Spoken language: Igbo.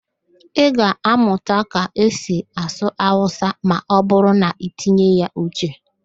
Ị ga-amụta ka esi asụ Awụsa ma ọ bụrụ na-itinye ya uche.